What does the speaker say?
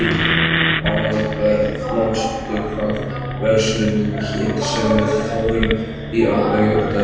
Aðalbert, manstu hvað verslunin hét sem við fórum í á laugardaginn?